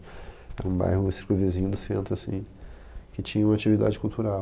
Era um bairro, um circunvizinho do centro, assim, que tinha uma atividade cultural.